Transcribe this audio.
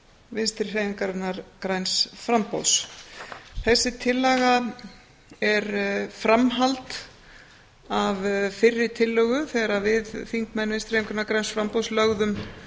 vinstri hreyfingarinnar græns framboðs þessi tillaga er framhald af fyrri tillögu þegar að við þingmenn vinstri hreyfingarinnar græns framboðs lögðum